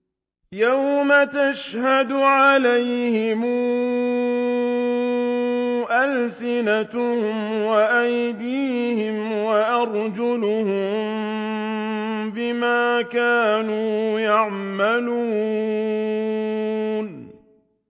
يَوْمَ تَشْهَدُ عَلَيْهِمْ أَلْسِنَتُهُمْ وَأَيْدِيهِمْ وَأَرْجُلُهُم بِمَا كَانُوا يَعْمَلُونَ